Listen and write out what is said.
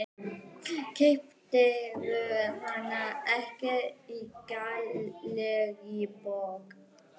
Keyptirðu hana ekki í Gallerí Borg?